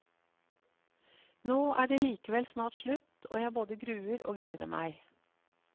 Nå er det likevel snart slutt, og jeg både gruer og gleder meg.